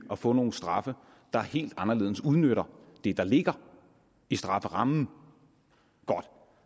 at få nogle straffe der helt anderledes udnytter det der ligger i strafferammen godt